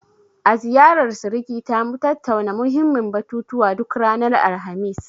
In ziyarar sirikata, mu tattauna muhimmin batutuwa, duk ranar Alhamis.